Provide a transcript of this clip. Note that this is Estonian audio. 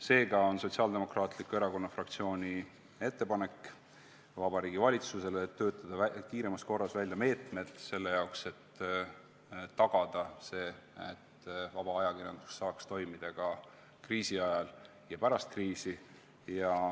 Seega on Sotsiaaldemokraatliku Erakonna fraktsiooni ettepanek Vabariigi Valitsusele töötada kiiremas korras välja meetmed selle jaoks, et tagada see, et vaba ajakirjandus saaks toimida ka kriisi ajal ja pärast kriisi.